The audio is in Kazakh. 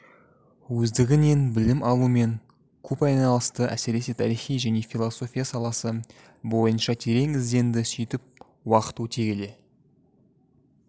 өздігінен білім алумен көп айналысты әсіресе тарихи және философия саласы бойынша терең ізденді сөйтіп уақыт өте келе